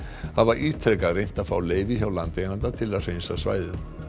hafa ítrekað reynt að fá leyfi hjá landeiganda til að hreinsa svæðið